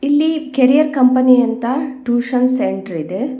ಇಲ್ಲಿ career company ಅಂತ tuition centre ಇದೆ.